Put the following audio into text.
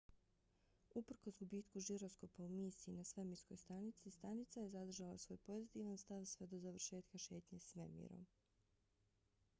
uprkos gubitku žiroskopa u misiji na svemirskoj stanici stanica je zadržala svoj pozitivan stav sve do završetka šetnje svemirom